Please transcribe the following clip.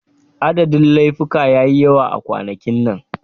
Adadin laifuka ya yi yawa a kwanakin nan.